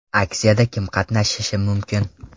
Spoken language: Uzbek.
Aksiyada kim qatnashishi mumkin?